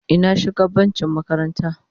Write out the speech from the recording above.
Ina shugabanci makaranta.